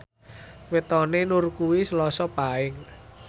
wetone Nur kuwi Selasa Paing